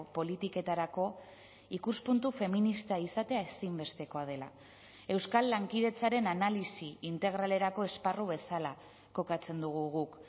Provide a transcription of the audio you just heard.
politiketarako ikuspuntu feminista izatea ezinbestekoa dela euskal lankidetzaren analisi integralerako esparru bezala kokatzen dugu guk